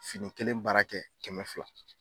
Fini kelen baara kɛ kɛmɛ fila.